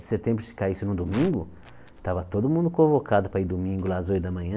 Setembro, se caísse num domingo, tava todo mundo convocado para ir domingo lá, às oito da manhã.